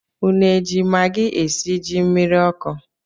Unu eji magi esi ji mmiri ọkụ?